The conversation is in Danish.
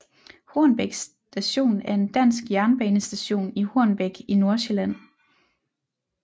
Hornbæk Station er en dansk jernbanestation i Hornbæk i Nordsjælland